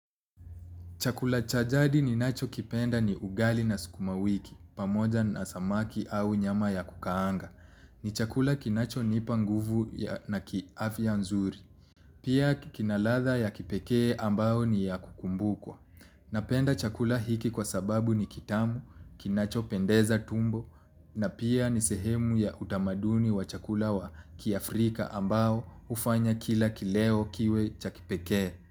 Chakula cha jadi ninachokipenda ni ugali na sukuma wiki, pamoja na samaki au nyama ya kukaanga. Ni chakula kinacho nipa nguvu na kiafya nzuri. Pia kina ladha ya kipekee ambayo ni ya kukumbukwa. Napenda chakula hiki kwa sababu ni kitamu, kinacho pendeza tumbo, na pia ni sehemu ya utamaduni wa chakula wa kiafrika ambao hufanya kila kileo kiwe cha kipekee.